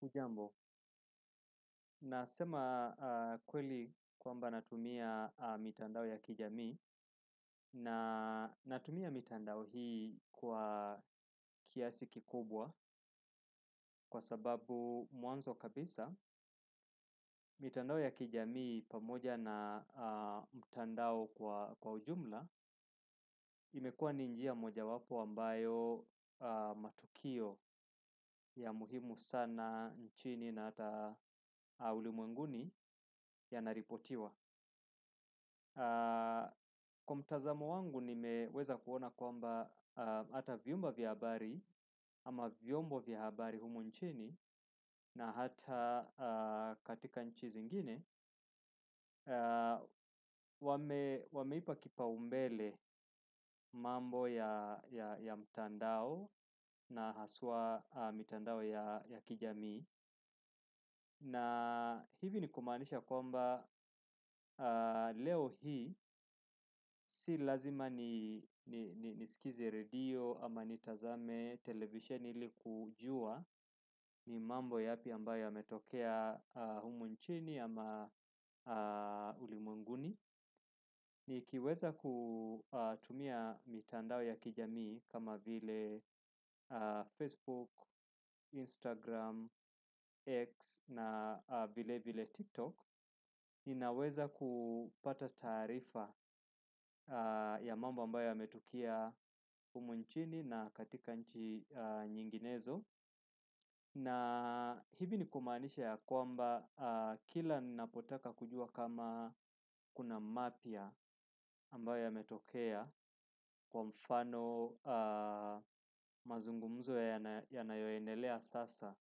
Hujambo, nasema kweli kwamba natumia mitandao ya kijamii na natumia mitandao hii kwa kiasi kikubwa kwa sababu mwanzo kabisa mitandao ya kijamii pamoja na mtandao kwa ujumla imekuwa ni njia moja wapo ambayo matukio ya muhimu sana nchini na hata ulimwenguni yanaripotiwa. Kwa mtazamo wangu nimeweza kuona kwamba hata vyumba vya habari ama vyombo vya habari humu nchini na hata katika nchi zingine, wameipa kipaumbele mambo ya mtandao na haswa mitandao ya kijamii. Na hivi ni kumaanisha ya kwamba leo hii si lazima ni nisikize redio ama nitazame televisheni ili kujua ni mambo yapi ambayo yametokea humu nchini ama ulimwenguni. Nikiweza kutumia mitandao ya kijamii kama vile Facebook, Instagram, X na vilevile Tiktok ninaweza kupata taarifa ya mambo ambayo yametukia humu nchini na katika nchi nyinginezo na hivi ni kumaanisha ya kwamba kila ninapotaka kujua kama kuna mapya ambayo yametokea kwa mfano mazungumzo yanayoenelea sasa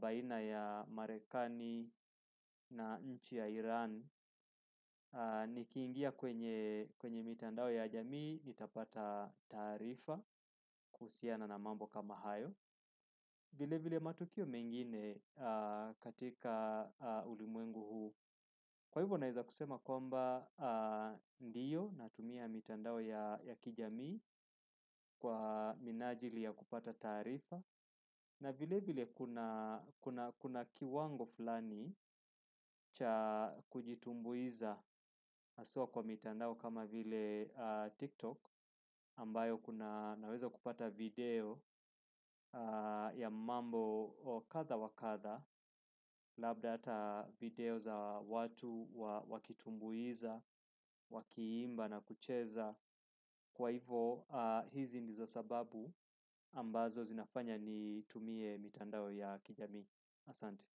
baina ya Marekani na nchi ya Iran. Nikiingia kwenye mitandao ya jamii nitapata taarifa kuhusiana na mambo kama hayo. Vile vile matukio mengine katika ulimwengu huu. Kwa hivyo naeza kusema kwamba ndio natumia mitandao ya kijamii kwa minajili ya kupata taarifa. Na vile vile kuna kiwango fulani cha kujitumbuiza haswa kwa mitandao kama vile TikTok. Ambayo naweza kupata video ya mambo kadha wa kadha labda hata video za watu wakitumbuiza, wakiimba na kucheza kwa hivo hizi ndizo sababu ambazo zinafanya nitumie mitandao ya kijamii asante.